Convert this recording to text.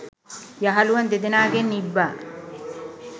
යහළුවන් දෙදෙනාගෙන් ඉබ්බා